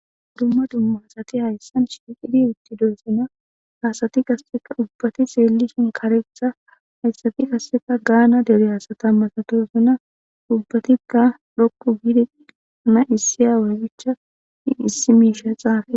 Dumma dummaasati hayssan shiiqidi utti dorsana haasati kasseka ubbati seeli shin kareqtha hayssati kasseta gaana dere aasata masatosuna ubbatikka dhoqu giidiana issi aawaygicha issi miisha xaafe.